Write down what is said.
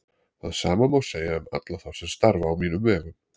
Það sama má segja um alla þá sem starfa á mínum vegum.